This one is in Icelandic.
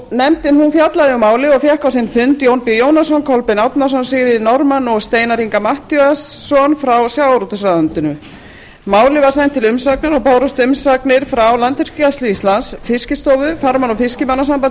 nefndin fjallaði um málið og fékk á sinn fund jón b jónasson kolbein árnason sigríði norðmann og steinar inga matthíasson frá sjávarútvegsráðuneytinu málið var sent út til umsagnar og bárust umsagnir frá landhelgisgæslu íslands fiskistofu farmanna og fiskimannasambandi